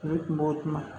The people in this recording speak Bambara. Ne kuma o kuma